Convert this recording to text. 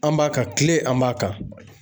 An b'a ka kile, an b'a kan